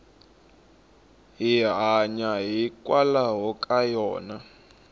hi hanya hikwalaho ka yona